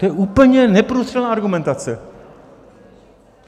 To je úplně neprůstřelná argumentace!